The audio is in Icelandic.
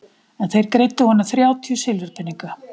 En þeir greiddu honum þrjátíu silfurpeninga.